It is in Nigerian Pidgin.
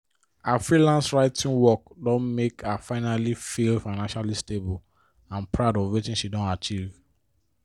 her freelance writing work don make her finally feel financially stable and proud of wetin she don achieve